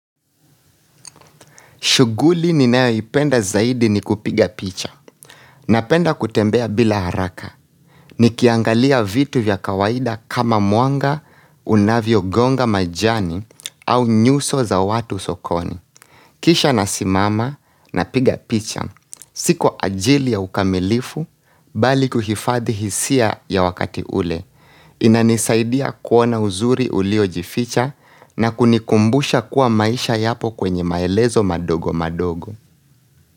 Shughuli ninayoipenda zaidi ni kupiga picha. Napenda kutembea bila haraka. Nikiangalia vitu vya kawaida kama mwanga unavyogonga majani au nyuso za watu sokoni. Kisha nasimama napiga picha. Si kwa ajili ya ukamilifu, bali kuhifadhi hisia ya wakati ule. Inanisaidia kuona uzuri uliojificha na kunikumbusha kuwa maisha yapo kwenye maelezo madogo madogo.